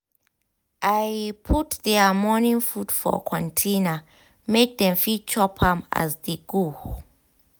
i put their morning food for container make dem fit dey chop as dem dey go.